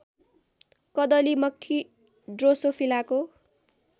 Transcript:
कदली मक्खी ड्रोसोफिलाको